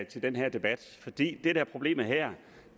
til den her debat det der er problemet her